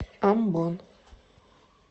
амбон